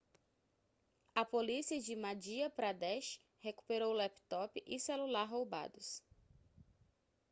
a polícia de madhya pradesh recuperou o laptop e celular roubados